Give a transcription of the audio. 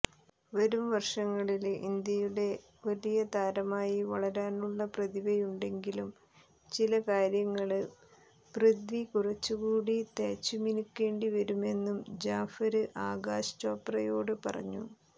വരുംവര്ഷങ്ങളില് ഇന്ത്യയുടെ വലിയ താരമായി വളരാനുള്ള പ്രതിഭയുണ്ടെങ്കിലും ചിലകാര്യങ്ങള് പൃഥ്വി കുറച്ചുകൂടി തേച്ചുമിനുക്കേണ്ടിവരുമെന്നും ജാഫര് ആകാശ് ചോപ്രയോട് പറഞ്ഞു